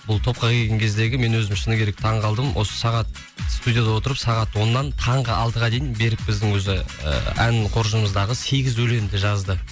бұл топқа келген кездегі мен өзім шыны керек таң қалдым осы сағат студияда отырып сағат оннан таңғы алтыға дейін берік біздің өзі ән қоржынымыздағы сегіз өлеңді жазды